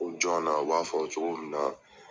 u b'a fɔ cogo min na.